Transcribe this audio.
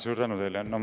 Suur tänu teile!